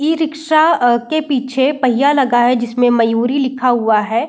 E rickshaw अ के पीछे पहिया लगा है जिसमे मयूरी लिखा हुआ है।